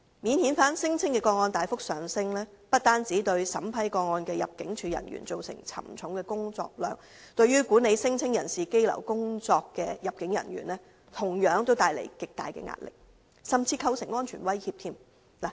免遣返聲請的個案大幅上升，不單對審批個案的入境處人員造成沉重的工作量，對管理聲請人士羈留工作的入境處人員同樣帶來極大壓力，甚至構成安全威脅。